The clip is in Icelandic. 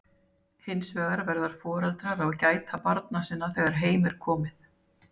hins vegar verða foreldrar að gæta barna sinna þegar heim er komið